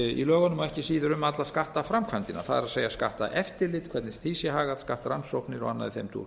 í lögunum og ekki síður um alla skattframkvæmd það er skatteftirlit hvernig því sé hagað skattrannsóknir og annað í þeim dúr